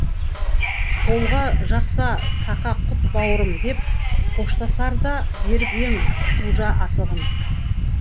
қолға жақса сақа тұт бауырым деп қоштасарда беріп ең құлжа асығын